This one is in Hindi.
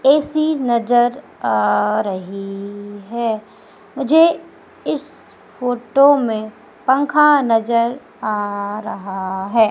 ए_सी नजर आ रही है मुझे इस फोटो में पंखा नजर आ रहा है।